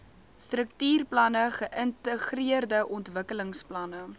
struktuurplanne geïntegreerde ontwikkelingsplanne